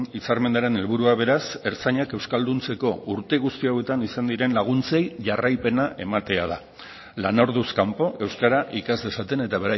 hitzarmenaren helburua beraz ertzainak euskalduntzeko urte guzti hauetan izan diren laguntzei jarraipena ematea da lanorduz kanpo euskara ikas dezaten eta